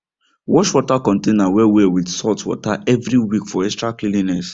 wash water container well well with salt water every week for extra cleanliness